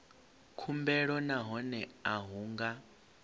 khumbelo nahone a hu nga